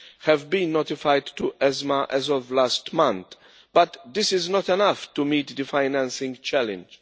having been notified to ESMA as of last month, but this is not enough to meet the financing challenge.